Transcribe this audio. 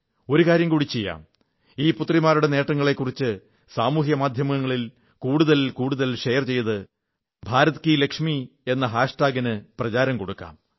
ഒരു കാര്യം കൂടി ചെയ്യാം ഈ പുത്രിമാരുടെ നേട്ടങ്ങളെക്കുറിച്ച് സാമൂഹ്യമാധ്യമങ്ങളിൽ കൂടുതൽ കൂതൽ ഷെയറുകൾ ചെയ്ത് ഭാരത് കീ ലക്ഷ്മി ഭരത്കിലക്ഷ്മി എന്ന ഹാഷ്ടാഗിന് പ്രചാരം കൊടുക്കാം